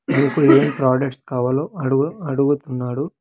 మీకు ఏం ప్రోడక్ట్స్ కావాలో అడు-- అడుగుతున్నాడు.